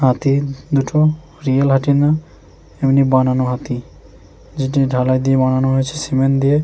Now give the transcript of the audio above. হাতিদুটো real হাটি না এমনি বানানো হাতি যেটি ঢালাই দিয়ে বানানো হয়েছে সিমেন্ট দিয়ে।